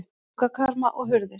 Gluggakarma og hurðir.